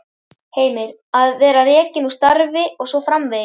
Heimir: Að vera rekinn úr starfi og svo framvegis?